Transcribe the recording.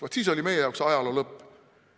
Vaat siis oli meie jaoks ajaloo lõpp.